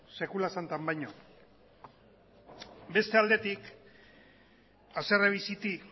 sekula santan baino beste aldetik haserre bizitik